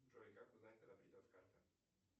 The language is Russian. джой как узнать когда придет карта